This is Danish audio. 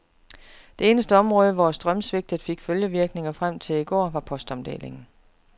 Det eneste område, hvor strømsvigtet fik følgevirkninger frem til i går, var postomdelingen.